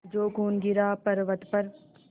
जो खून गिरा पवर्अत पर